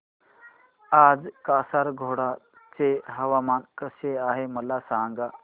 आज कासारगोड चे हवामान कसे आहे मला सांगा